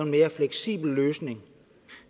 mere fleksibel løsning